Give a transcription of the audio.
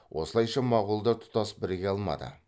осылайша моғолдар тұтас біріге алмады